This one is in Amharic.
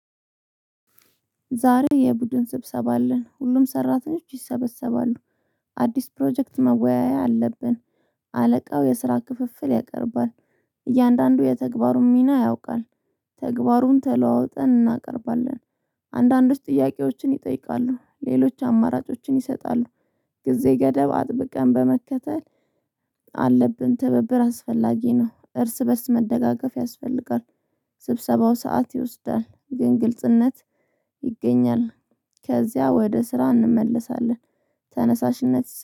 ዛሬ የቡድን ስብሰባ አለን ሁሉም ሰራተኞች ይሰበሰባሉ። አዲስ ፕሮጀክት መወያያ አለብን። አለቃው የስራ ክፍፍል ያቀርባል። እያንዳንዱ የተግባሩን ሚና ያውቃል። ተግባሩን ተለዋውጠን እናቀርባለን። አንዳንዶች ጥያቄዎችን ይጠይቃሉ ሌሎች አማራጮችን ይሰጣሉ። ጊዜ ገደብ አጥብቀን በመከተል አለብን ትብብር አስፈላጊ ነው እርስ በእርስ መደጋገፍ ያስፈልጋል። ስብሰባው ሰዓት ይወስዳል ግን ግልጽነት ይገኛል። ከዚያ ወደ ስራ እንመለሳለን። ተነሳሽነት